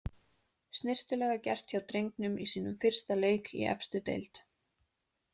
Snyrtilega gert hjá drengnum í sínum fyrsta leik í efstu deild.